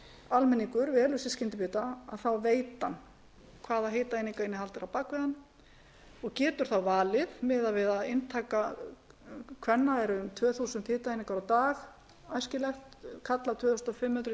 almenningur velur sér skyndibita þá veit hann hvaða hitaeiningainnihald er á bak við hann og getur þá valið við það að inntaka kvenna er um tvö þúsund hitaeiningar á dag æskilegt karla tvö þúsund